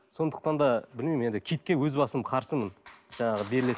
сондықтан да білмеймін енді киіке өз басым қарсымын жаңағы